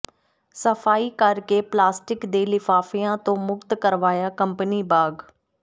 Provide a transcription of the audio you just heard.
ਸਫਾਈ ਕਰ ਕੇ ਪਲਾਸਟਿਕ ਦੇ ਲਿਫਾਫਿਆਂ ਤੋਂ ਮੁਕਤ ਕਰਵਾਇਆ ਕੰਪਨੀ ਬਾਗ